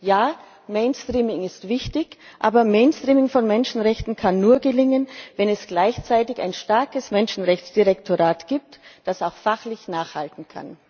Ja, Mainstreaming ist wichtig, aber Mainstreaming von Menschenrechten kann nur gelingen, wenn es gleichzeitig ein starkes Menschenrechtsdirektorat gibt, das auch fachlich nachhalten kann.